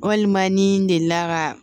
Walima ni n delila ka